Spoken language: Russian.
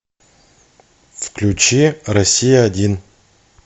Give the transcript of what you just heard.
включи россия один